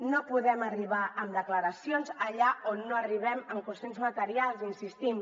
no podem arribar amb declaracions allà on no arribem en qüestions materials hi insistim